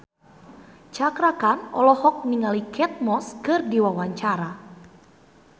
Cakra Khan olohok ningali Kate Moss keur diwawancara